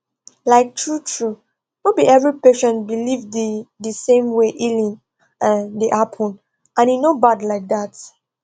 like truetrue no be every patient believe the the same way healing um dey happen and e no bad like that